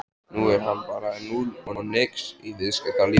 Nú er hann bara núll og nix í viðskiptalífinu!